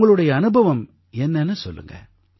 உங்களுடைய அனுபவம் என்னன்னு சொல்லுங்க